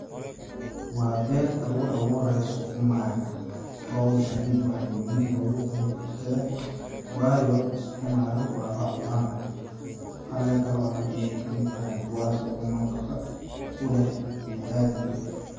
waa beerta lagu abuurayo sakuma, howshani waxe muhiim ugu tahay bulshada waayo sakuma waa lacuna caleenta lacuno ayee kamid tahay kuwaasi oo nafaqo uleh biniaadamka.